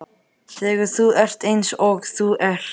Þegar þú ert eins og þú ert.